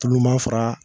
Tulu ma fara